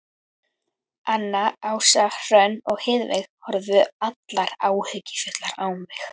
Anna, Ása, Hrönn og Heiðveig horfðu allar áhyggjufullar á mig.